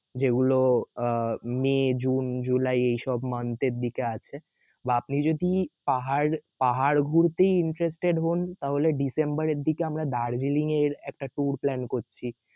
যেগুলো আহ May June July এই সব month এর দিকে আছে বা আপনি যদি পাহাড়~পাহাড় ঘুরতে interested হন তাহলে ডিসেম্বর এর দিকে আমরা দার্জিলিং এর একটা tour plan করছি